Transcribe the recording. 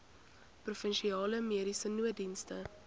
provinsiale mediese nooddienste